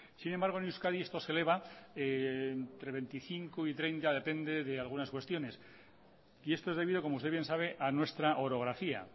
sin embargo en euskadi esto se eleva entre veinticinco y treinta depende de algunas cuestiones y esto es debido como usted bien sabe a nuestra orografía